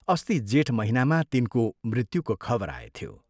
अस्ति जेठ महीनामा तिनको मृत्युको खबर आएथ्यो।